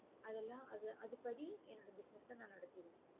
அது எல்லாம் அது அதுபடி என்னோட business நான் நடத்திருவேன்